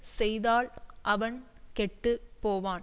செய்தால் அவன் கெட்டு போவான்